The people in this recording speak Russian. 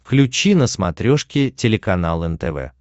включи на смотрешке телеканал нтв